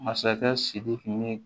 Masakɛ sidiki ni